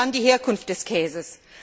Wo ist dann die Herkunft des Käses?